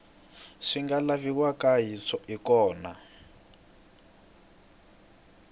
swi nga laviwaka hi kona